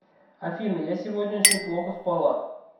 афина я сегодня очень плохо спала